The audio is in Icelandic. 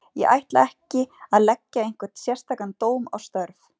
Ég ætla mér ekki að leggja einhvern sérstakan dóm á störf